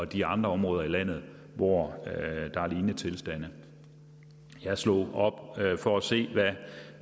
de andre områder i landet hvor der er lignende tilstande jeg slog op for at se